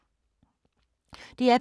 DR P2